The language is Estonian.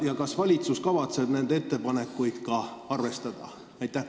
Ja kas valitsus kavatseb nende ettepanekuid ka arvestada?